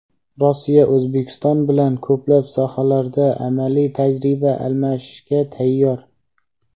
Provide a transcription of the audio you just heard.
Rossiya O‘zbekiston bilan ko‘plab sohalarda amaliy tajriba almashishga tayyor.